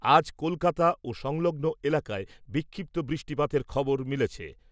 আজ কলকাতা ও সংলগ্ন এলাকায় বিক্ষিপ্ত বৃষ্টিপাতের খবর মিলেছে ।